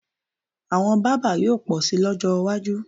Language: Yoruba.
Àwọn bábà yóò pọ̀ síi lọ́jọ́ iwájú